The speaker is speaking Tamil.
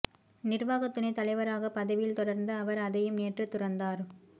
நிர்வாக துணை தலைவராக பதவியில் தொடர்ந்த அவர் அதையும் நேற்று துறந்தார்